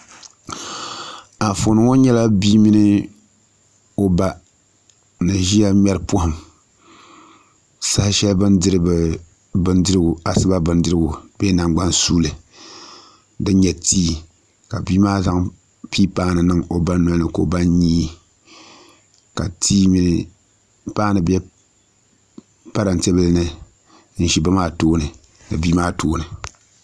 Anfooni ŋɔ nyɛla bia mini o ba ni ʒiya ŋmɛri pɔhim saha shɛli bɛ ni diri asiba bindirigu bee nangban' suuli din nyɛ ti ka bia maa zaŋ paanu niŋ o ba nolini ka o nyii ka paanu be parante bila ni n-za ba maa tooni ni bia maa tooni